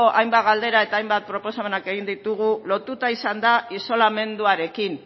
hainbat galdera eta hainbat proposamenak egin ditugu lotuta izan da isolamenduarekin